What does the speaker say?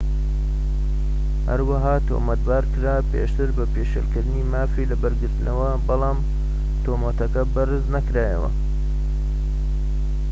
هەروەها تۆمەتبار کرا پێشتر بە پێشێلکردنی مافی لەبەرگرتنەوە بەڵام تۆمەتەکە بەرز نەکرایەوە